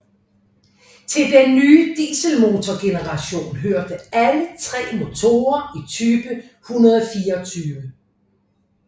Til den nye dieselmotorgeneration hørte alle tre motorer i type 124